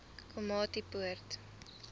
komatipoort